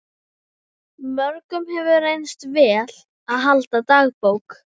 Mörgum hefur reynst vel að halda dagbók.